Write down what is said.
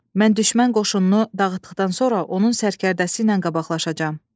Mən düşmən qoşununu dağıtdıqdan sonra onun sərkərdəsi ilə qabaqlaşacam.